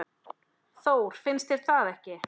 Þór, finnst þér það ekki?